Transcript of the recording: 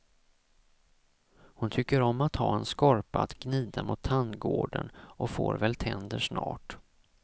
Hon tycker om att ha en skorpa att gnida mot tandgården och får väl tänder snart.